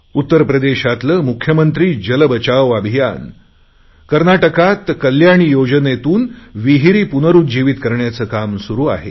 उत्तरप्रदेशातले मुख्यमंत्री जलबचाव अभियान कर्नाटकात कल्याणी योजनेतून विहीरी पुनरुज्जीवीत करण्याचे काम सुरु आहे